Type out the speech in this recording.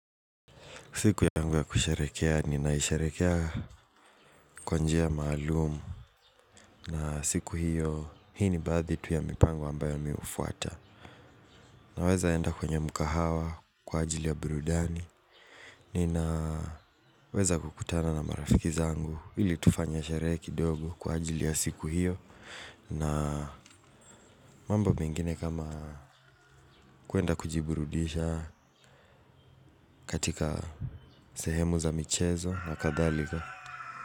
Siku yangu ya kusherehekea ni naisherehekea kwa njia maalum. Na siku hiyo hii ni baadhi tu ya mipango ambayo mi hufuata. Naweza enda kwenye mkahawa kwa ajili ya burudani. Ninaweza kukutana na marafiki zangu ili tufanye sherehe kidogo kwa ajili ya siku hiyo. Na mambo mengine kama kuenda kujiburudisha katika sehemu za michezo na kadhalika.